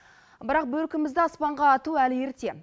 бірақ бөркімізді аспанға ату әлі ерте